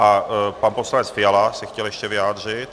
A pan poslanec Fiala se chtěl ještě vyjádřit.